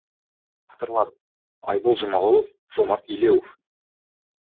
авторлары айбол жұмағұлов жомарт елеуов